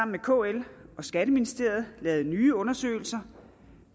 med kl og skatteministeriet lavet nye undersøgelser